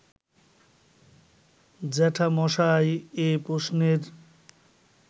জ্যাঠামশায় এ প্রশ্নের